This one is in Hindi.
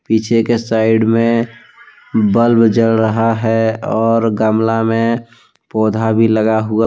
पीछे के साइड में बल्ब जल रहा है और गमला में पौधा भी लगा हुआ--